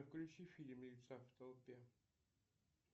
включи фильм в толпе